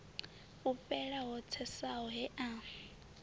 fhufhela ho tsesaho he a